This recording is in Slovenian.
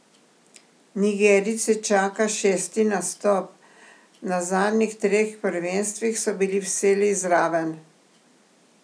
Nigerijce čaka šesti nastop, na zadnjih treh prvenstvih so bili vselej zraven.